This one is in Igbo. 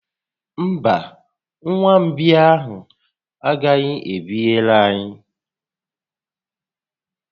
Mba, nwa mgbei ahụ a gaghị ebinyere anyị